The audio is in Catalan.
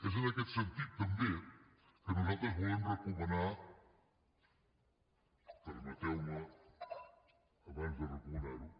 és en aquest sentit també que nosaltres volem recomanar permeteume abans de recomanarho